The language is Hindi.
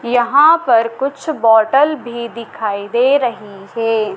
यहां पर कुछ बॉटल भी दिखाई दे रही है।